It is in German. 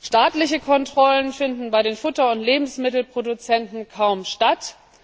Staatliche Kontrollen finden bei den Futter und Lebensmittelproduzenten kaum statt.